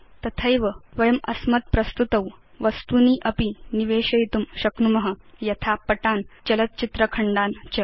तथैव वयम् अस्मत् प्रस्तुतौ वस्तूनि अपि निवेशयितुं शक्नुम यथा पटान् चलत् चित्र खण्डान् च